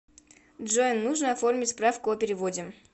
джой нужно оформить справку о переводе